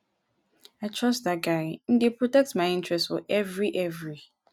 i trust dat guy him dey protect my interest for every every.